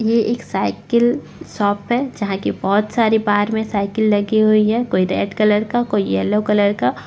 ये एक cycle shop है जहां कि बहोत सारी बाहर मे साइकिल लगी हुई है कोई रेड कलर का कोई येल्लो कलर का।